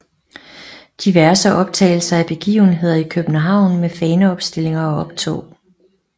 Diverse optagelser af begivenheder i København med faneopstillinger og optog